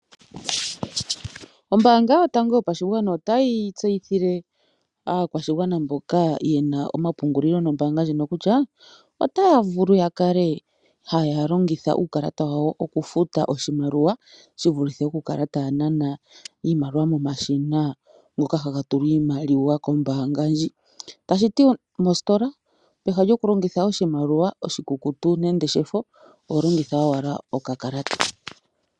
Ombaanga yotango yopashigwana otayi tseyithile aakwashigwana mboka ye na omapungulilo nombaanga ndjino kutya, otaya vulu ya kale ha ya longitha uukalata wawo okufuta oshimaliwa shi vulithe oku kala taya nana iimaliwa momashina ngoka ha ga tulwa iimaliwa kombaanga ndji. Tashi ti mositola peha lyokulongitha oshimaliwa oshikukutu nenge shefo, oho longitha wala okakalata.